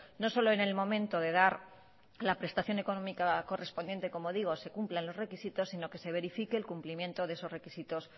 no solo en el momento de dar la prestación económica correspondiente como digo se cumplan los requisitos sino que se verifique el cumplimiento de esos requisitos